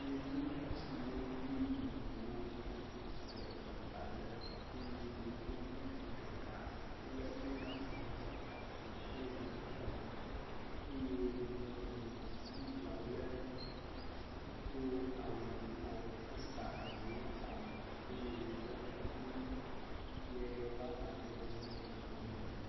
Yevu ŋutsuwo kple nyɔnuwo le teƒe aɖe eye yevu ŋutsu ɖeka le mega foni ɖe asi hele nu ƒom eye nyɔnu bubu aɖe do awu yibɔ hesa enu ɖe kɔme eye wodo kuku ka wo amadede nye gbemumu.